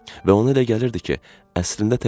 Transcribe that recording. Və ona elə gəlirdi ki, əslində tək deyil.